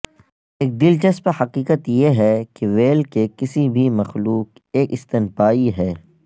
ایک دلچسپ حقیقت یہ ہے کہ وہیل کے کسی بھی مخلوق ایک ستنپایی ہے